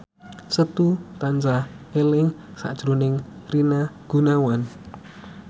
Setu tansah eling sakjroning Rina Gunawan